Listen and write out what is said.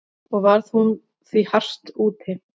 Og varð hún því hart úti.